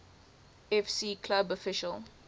fc club official